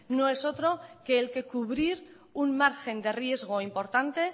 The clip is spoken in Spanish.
no es otro que el que cubrir un margen de riesgo importante